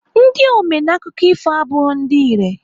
Ndị ome n'akụkọ ifo abụghị ndị irè.